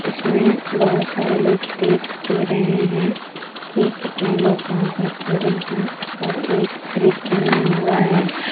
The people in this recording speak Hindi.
इसमें बहोत सारे लोग देख भी रहे हैं कि कितने लोग वहां पर खड़े हैं और एक ब्रिज बना हुआ है।